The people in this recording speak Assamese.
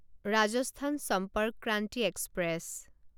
ৰাজস্থান সম্পৰ্ক ক্ৰান্তি এক্সপ্ৰেছ